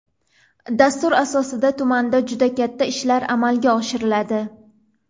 Dastur asosida tumanda juda katta ishlar amalga oshiriladi.